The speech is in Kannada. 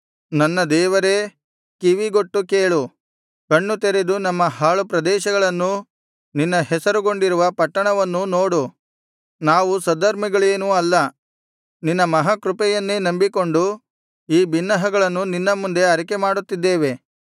ನನ್ನ ದೇವರೇ ಕಿವಿಗೊಟ್ಟು ಕೇಳು ಕಣ್ಣುತೆರೆದು ನಮ್ಮ ಹಾಳು ಪ್ರದೇಶಗಳನ್ನೂ ನಿನ್ನ ಹೆಸರುಗೊಂಡಿರುವ ಪಟ್ಟಣವನ್ನೂ ನೋಡು ನಾವು ಸದ್ಧರ್ಮಿಗಳೇನೂ ಅಲ್ಲ ನಿನ್ನ ಮಹಾ ಕೃಪೆಯನ್ನೇ ನಂಬಿಕೊಂಡು ಈ ಬಿನ್ನಹಗಳನ್ನು ನಿನ್ನ ಮುಂದೆ ಅರಿಕೆ ಮಾಡುತ್ತಿದ್ದೇವೆ